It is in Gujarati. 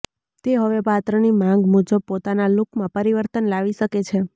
તે હવે પાત્રની માંગ મુજબ પોતાના લૂકમાં પરિવર્તન લાવી શકે છે